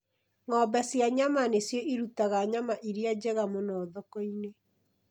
Ng'ombe cia nyama nĩcio irutaga nyama iria njega mũno thoko-inĩ.